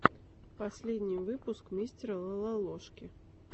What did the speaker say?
последний выпуск мистера лололошки